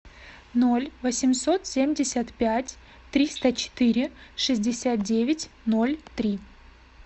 ноль восемьсот семьдесят пять триста четыре шестьдесят девять ноль три